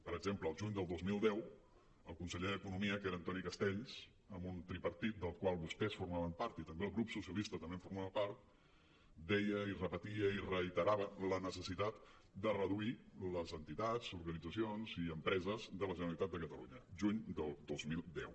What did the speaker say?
per exemple el juny del dos mil deu el conseller d’economia que era antoni castells en un tripartit del qual vostès formaven part i també el grup socialista en formava part deia i repetia i reiterava la necessitat de reduir les entitats organitzacions i empreses de la generalitat de catalunya juny del dos mil deu